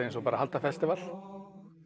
eins og að halda festival